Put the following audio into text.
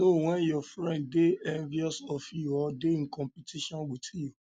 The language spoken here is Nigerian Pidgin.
know when your friend de envious of you or de in competition with you